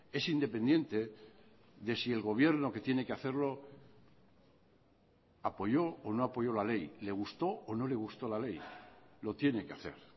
es independiente de si el gobierno que tiene que hacerlo apoyó o no apoyó la ley le gustó o no le gustó la ley lo tiene que hacer